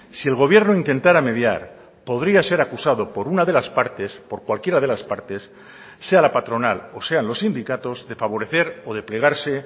si el gobierno intentara mediar podría ser acusado por una de las partes por cualquiera de las partes sea la patronal o sean los sindicatos de favorecer o de plegarse